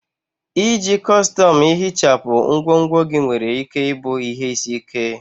Iji kọstọm ihichapụ ngwongwo gị nwere ike ịbụ ihe isi ike.